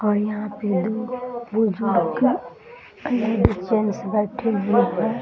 और यहाँ पे दो लेडीज जेंट्स बैठे हुए हैं ।